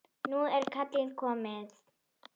Nú er kallið komið.